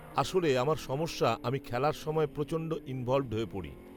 আসলে, আমার সমস্যা আমি খেলার সময় প্রচণ্ড ইনভলভড হয়ে পড়ি